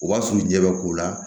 O b'a surun ɲɛ bɛ k'u la